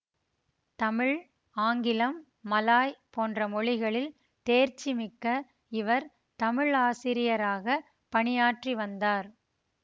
தமிழ் ஆங்கிலம் மலாய் போன்ற மொழிகளில் தேர்ச்சிமிக்க இவர் தமிழாசிரியராகப் பணியாற்றிவந்தார்